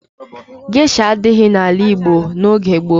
Gesha adighị n'ala Igbo n'oge gboo.